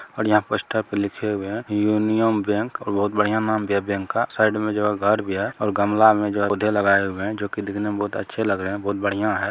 यहा पर पोस्टर पे लिखे हुए है यूनियन बैंक और बहुत बड़िया नाम है बैंक का साइड में जो घर भी है और गमला में जो हैं पौधे लगाए हुए हैं लगाई जो दिखने में बहुत अच्छे लग रहे हैं बहुत बड़िया हैं ।